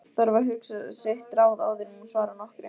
Þarf að hugsa sitt ráð áður en hún svarar nokkru.